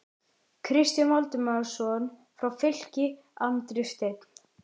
Kristján Valdimarsson frá Fylki, Andri Steinn???